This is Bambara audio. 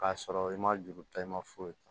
K'a sɔrɔ i ma juru ta i ma foyi ta